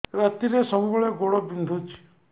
ରାତିରେ ସବୁବେଳେ ଗୋଡ ବିନ୍ଧୁଛି